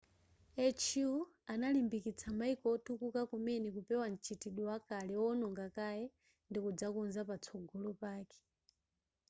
hu analimbikitsa mayiko otukuka kumene kupewa m'chitidwe wakale owononga kaye ndikudzakonza patsogolo pake